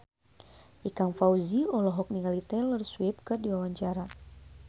Ikang Fawzi olohok ningali Taylor Swift keur diwawancara